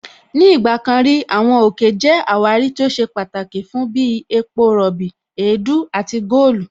Ní ìgbà kan rí, Àwọn òkè jẹ́ àwárí tó ṣe pàtàkì fún bí epo rọ̀bì, èédú àti góòlù